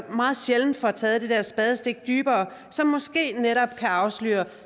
meget sjældent får taget det der spadestik dybere som måske netop kan afsløre